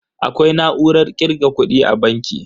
Akwai na'urar kirga kudi a banki.